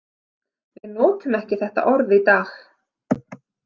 Við notum ekki þetta orð í dag.